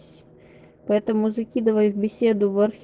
поэтому закидывай в беседу в